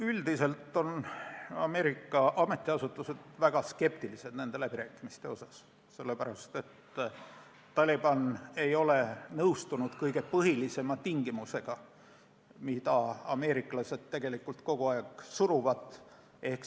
Üldiselt on Ameerika ametiasutused väga skeptilised nende läbirääkimiste suhtes, sellepärast et Taliban ei ole nõustunud kõige põhilisema tingimusega, mida ameeriklased kogu aeg peale suruvad.